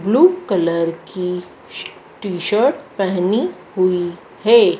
Blue colour की श t shirt पेहनी हुई है।